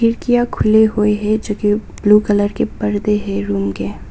खिड़कियां खुली हुई हैं जो की ब्लू कलर के पर्दे हैं रूम के--